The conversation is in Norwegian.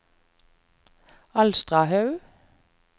Alstahaug